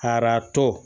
Aratɔ